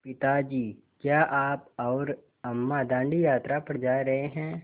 पिता जी क्या आप और अम्मा दाँडी यात्रा पर जा रहे हैं